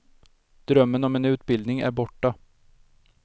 Drömmen om en utbildning är borta.